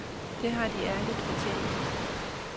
Det har de ærligt fortjent.